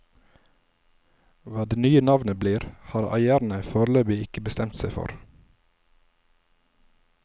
Hva det nye navnet blir, har eierne foreløpig ikke bestemt seg for.